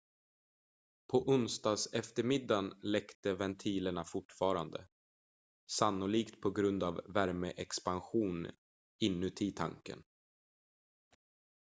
på onsdagseftermiddagen läckte ventilerna fortfarande sannolikt på grund av värmeexpansion inuti tanken